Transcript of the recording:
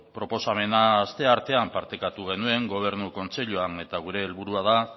proposamena asteartean partekatu ere gobernu kontseiluan eta gure helburua da